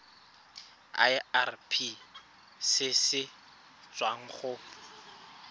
irp se se tswang go